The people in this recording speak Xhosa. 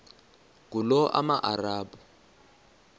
ngulomarabu